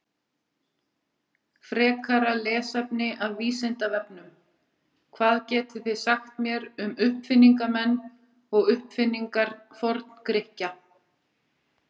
Frekara lesefni af Vísindavefnum: Hvað getið þið sagt mér um uppfinningamenn og uppfinningar Forngrikkja?